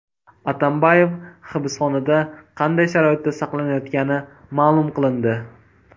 Atambayev hibsxonada qanday sharoitda saqlanayotgani ma’lum qilindi.